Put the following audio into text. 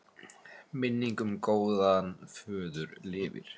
Minning um góðan föður lifir.